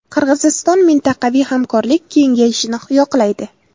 Qirg‘iziston mintaqaviy hamkorlik kengayishini yoqlaydi.